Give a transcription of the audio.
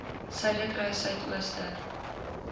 suiderkruissuidooster